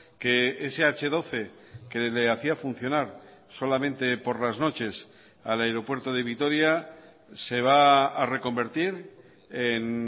que ese hache doce que le hacía funcionar solamente por las noches al aeropuerto de vitoria se va a reconvertir en